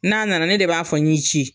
N'a nana ne de b'a fɔ n y'i ci.